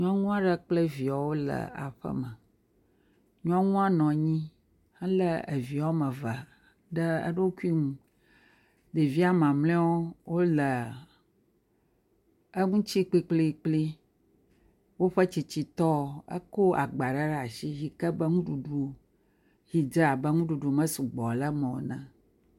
Nyɔŋua ɖe kple viawo le aƒeme, nyɔŋua nɔ nyi helé evi wome eve ɖe eɖokui ŋu, ɖevia maml0wo le eŋutsi kpikplikpli, woƒe tsitsitɔ eko agbaa ɖe ɖa si yi ke be nuɖuɖu yi dze abe nuɖuɖu mesu gbɔ le meɔ ene.